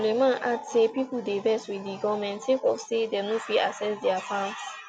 sulaiman add say pipo dey vex wit di goment sake of say dem no fit access dia farms